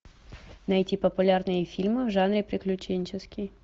найти популярные фильмы в жанре приключенческий